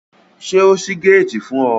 Ṣé o ṣí géètì fún ọ?